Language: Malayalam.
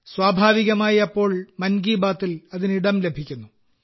സ്വാഭാവികമായി അപ്പോൾ മൻ കി ബാത്തിൽ അതിന് ഇടം ലഭിക്കുന്നു